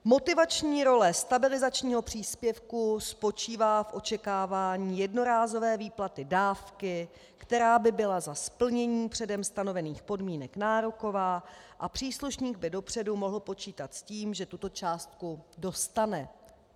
Motivační role stabilizačního příspěvku spočívá v očekávání jednorázové výplaty dávky, která by byla za splnění předem stanovených podmínek nároková, a příslušník by dopředu mohl počítat s tím, že tuto částku dostane.